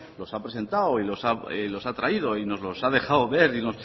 los ha presentado y los ha traído y nos los ha dejado ver